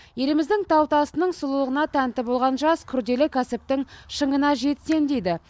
еліміздің тау тасының сұлулығына тәнті болған жас күрделі кәсіптің шыңына жетсем дейді